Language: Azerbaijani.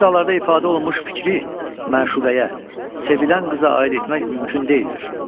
Bu misralarda ifadə olunmuş fikri məşuqəyə, sevilən qıza aid etmək mümkün deyildir.